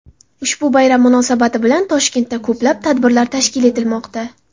Ushbu bayram munosabati bilan Toshkentda ko‘plab tadbirlar tashkil etilmoqda.